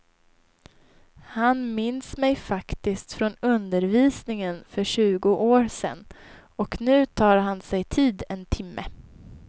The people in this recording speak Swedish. Han minns mig faktiskt från undervisningen för tjugo år sedan och nu tar han sig tid en timme.